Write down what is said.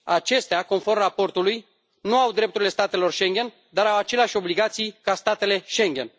Acestea, conform raportului, nu au drepturile statelor Schengen, dar au aceleași obligații ca statele Schengen.